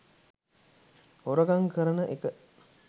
හොරකං කරන එක